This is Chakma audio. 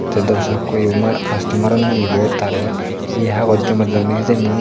tay dorsokko yo ma kastomar une ibot tare he hagoj joma dedonni hijeni.